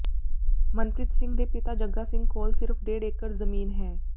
ਮਨਪ੍ਰੀਤ ਸਿੰਘ ਦੇ ਪਿਤਾ ਜੱਗਾ ਸਿੰਘ ਕੋਲ ਸਿਰਫ਼ ਡੇਢ ਏਕੜ ਜ਼ਮੀਨ ਹੈ